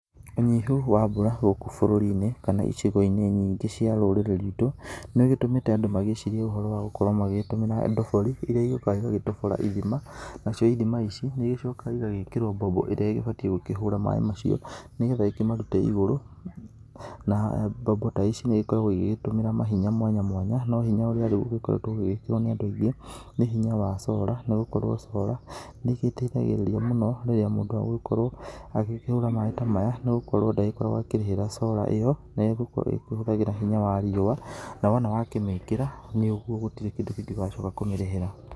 Ũnyihu wa mbura gũkũ bũrũrini kana icigoinĩ nyingĩ cia rũrĩrĩ rwĩtũ nĩgĩtũmĩte andũ magĩcirie ũhoro wa gũkorwo magĩtũmĩra ndobori iria cigĩũkaga cigatobora ithima. Nacio ithima ici nĩcigĩcokaga igagĩkĩrwo mbombo ĩrĩa ĩgĩbatie kũhũra maaĩ macio nĩgetha ĩkĩmarute igũrũ. Na mbombo ta ici nĩ igĩkoragwo igĩtũmĩra mahinya mwanya mwanya no hinya ũrĩa rĩu ũkoretwo ũgĩkĩrwo nĩ andũ aingĩ nĩ hinya wa sora, nĩgũkorwo sora nĩĩteithagĩrĩria mũno rĩrĩa mũndũ agũgĩkorwo akĩhũra maaĩ ta maya nĩgũkorwo ndagĩkoragwo akĩrĩhĩra sora ta ĩyo nĩgũkorwo ĩkĩhũthagĩra hinya wa riũwa na wona wamĩkĩra nĩũguo gũtirĩ kĩndũ ũgacoka kũmĩrĩhĩra.